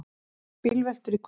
Tvær bílveltur í kvöld